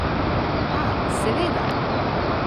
A, seveda!